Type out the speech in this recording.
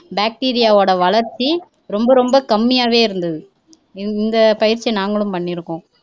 bacterio வோட வளர்ச்சி ரொம்ப ரொம்ப கம்மியாவே இருந்தது இந்த பயிற்சி நாங்களும் பண்ணி இருக்கோம்